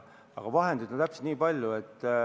Aga vahendeid on täpselt nii palju.